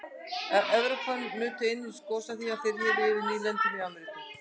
evrópumenn nutu einnig góðs af því að þeir réðu yfir nýlendum í ameríku